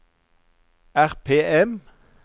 RPM